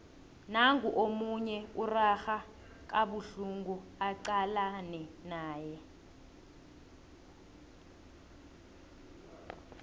nangu omunye urarha kabuhlungu acalane naye